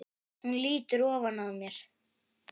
Hún lýtur ofan að mér.